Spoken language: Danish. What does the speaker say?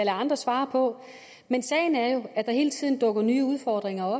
andre svare på men sagen er jo at der hele tiden dukker nye udfordringer op